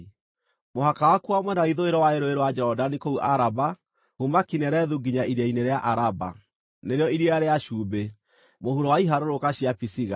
Mũhaka wakuo wa mwena wa ithũĩro warĩ Rũũĩ rwa Jorodani kũu Araba, kuuma Kinerethu nginya Iria-inĩ rĩa Araba (nĩrĩo Iria rĩa Cumbĩ), mũhuro wa iharũrũka cia Pisiga.